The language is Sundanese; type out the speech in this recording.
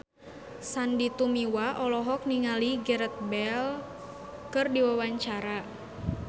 Sandy Tumiwa olohok ningali Gareth Bale keur diwawancara